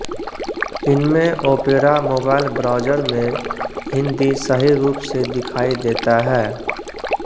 इनमें Opera mobile browser में हिन्दी सही रूप से दिखायी देता है